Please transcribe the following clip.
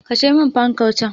Kashe min fankar can!